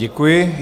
Děkuji.